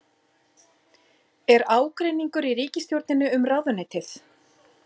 Er ágreiningur í ríkisstjórninni um ráðuneytið?